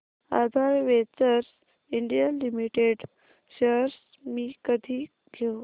आधार ventures India limited shares मी कधी घेऊ